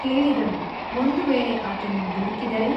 ಕೇಳಿದಳು ಒಂದು ವೇಳೆ ಆತನು ದುಡುಕಿದರೆ?